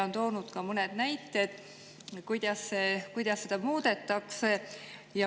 On toodud ka mõned näited, kuidas seda muudetakse.